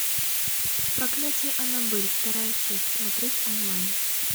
проклятие аннабель вторая часть смотреть онлайн